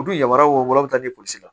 U dun yamara woro posi la